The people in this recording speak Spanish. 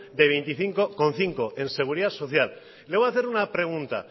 de veinticinco coma cinco en seguridad social le voy a hacer una pregunta